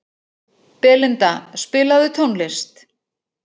Belinda, spilaðu tónlist.